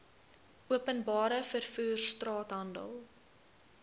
openbare vervoer straathandel